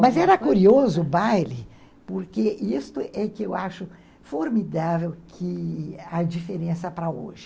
Mas era curioso o baile, porque isso é que eu acho formidável que há diferença para hoje.